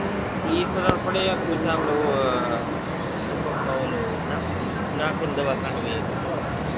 એ ખબર પડે કે આપડે ટપક માં ઓલું નાંખીન દવા કાઢીએ હમ